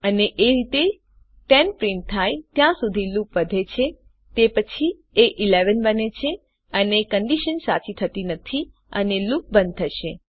અને એ રીતે 10 પ્રિન્ટ થાય ત્યાં સુધી લુપ વધે છે તે પછી એ 11 બને છે અને કન્ડીશન સાચી થતી નથી અને લૂપ બંધ થશે